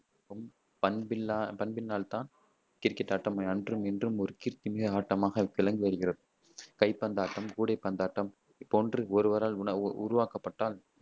பண்பில்லா பண்பினால்தான், கிரிக்கெட் ஆட்டம் அன்றும் இன்றும் ஒரு கீர்த்தி மிக்க ஆட்டமாக விளங்கி வருகிறது கைப்பந்தாட்டம், கூடைப்பந்தாட்டம் போன்று ஒருவரால் உன உருவாக்கப்பட்டால்,